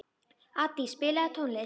Addý, spilaðu tónlist.